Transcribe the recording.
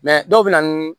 dɔw bɛ na